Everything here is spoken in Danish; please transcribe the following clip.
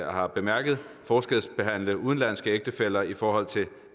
har bemærket forskelsbehandle udenlandske ægtefæller i forhold til